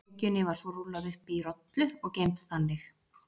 Lengjunni var svo rúllað upp í rollu og geymd þannig.